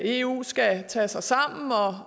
eu skal tage sig sammen